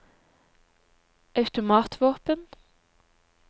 automatvåpen